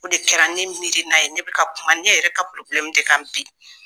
O de kɛra ne miirina ye ne bɛ ka kuma ne yɛrɛ ka de kan bi